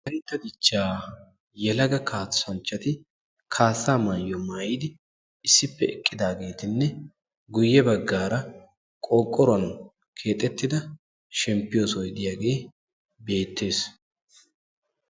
Wolaytta dichchaa yelaga kaassanchchati issippe eqqidaageetinne guyye baggara qorqqoruwan keexxettida shemppiyo sohoy diyaage beettees.